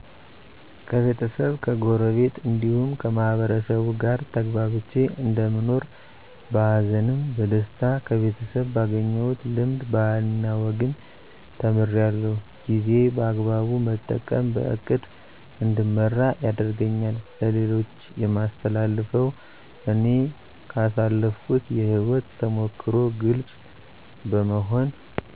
ከቤተሰብ ከጎረቤት እንዲሁም ከማህበረሰቡ ጋር ተግባብቼ እንደምኖር በሀዘንም በደስታ ከቤተሰብ ባገኘሁት ልምድ ባህልና ወግን ተምራለሁ ጊዜ በአግባቡ መጠቀም በእቅድ እንድመራ ያደርገኛል ለሌሎች የማስተላልፈው እኔ ካሳለፍኩት የህይወት ተሞክሮ ግልፅ በመሆን